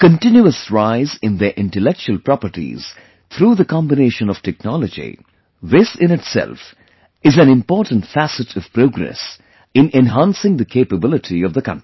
A continuous rise in their intellectual properties through the combination of technology this in itself is an important facet of progress in enhancing the capability of the country